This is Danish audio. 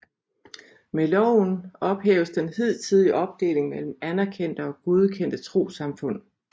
Med loven ophæves den hidtidige opdeling mellem anerkendte og godkendte trossamfund